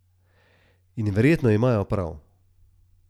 In verjetno imajo prav.